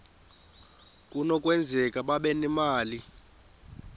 kunokwenzeka babe nemali